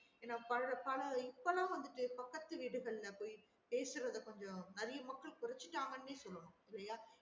ஏன்னா பல பல இப்பலாம் வந்துட்டு பக்கத்துக்கு வீடுகள்ல போய் பேசுறத கொஞ்சம் நிறையா மக்கள் கொரச்சுட்டாங்கன்னே சொல்லணும் இல்லையா